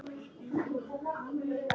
Hefurðu ekki gúgglað mig?!